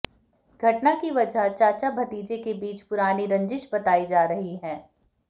घटना की वजह चाचा भतीजे के बीच पुरानी रंजिश बताई जा रही है